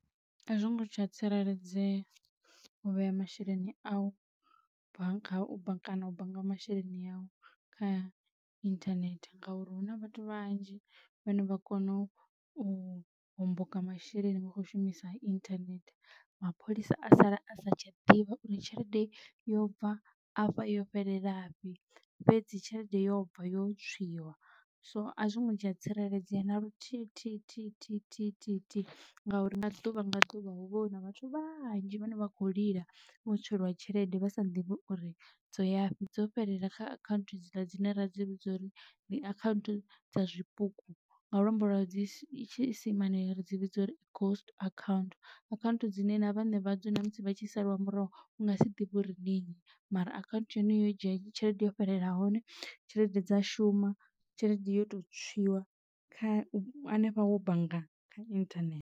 A zwongo tsha tsireledzea u vhea masheleni a u kana u bannga masheleni avho kha internet ngauri huna vhathu vhanzhi vhane vha kona u homboka masheleni vha khou shumisa internet mapholisa a sala a sa tsha ḓivha uri tshelede yo bva afha yo fhelela fhi fhedzi tshelede yo bva yo tswiwa so azwi ngo tsha tsireledzea na luthihi thihi thihi thihi thihi thihi, ngauri nga ḓuvha nga ḓuvha hu vha huna vhathu vhanzhi vhane vha kho lila vho tswelwa tshelede vha sa ḓivhe uri dzo yafhi dzo fhelela kha akhanthu dzi ḽa dzine ra dzi vhidza uri ndi account dza zwipuku nga luambo lwa tshiisimane ri dzi vhidza uri ndi ghost account nṋe na vhane vha dzo na musi vha tshi saliwa murahu u nga si ḓivhe uri ndi nnyi mara account ya hone yo dzhia tshelede yo fhelela hone tshelede dza shuma tshelede yo to tswiwaho kha hanefha wo bannga kha internet.